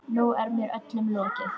Nú er mér öllum lokið.